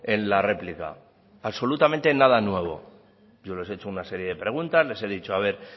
en la réplica absolutamente nada nuevo yo les he hecho una serie de preguntas les he dicho a ver